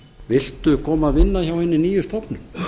viltu koma og vinna hjá hinni nýju stofnun